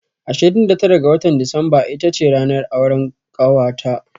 Ashirin da tara ga watan Disamba ita ce ranar auran ƙawata.